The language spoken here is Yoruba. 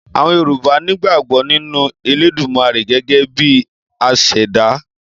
Àwọn Yorùbá nígbàgbọ́ nínú Elédùmarè gẹ́gẹ́ bi asàdá.